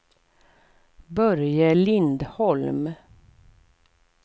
Börje Lindholm